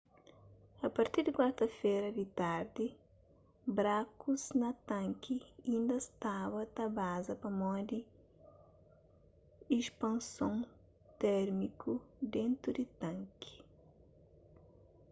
a partir di kuarta-fera di tardi brakus na tanki inda staba ta baza pamodi ispanson térmiku dentu di tanki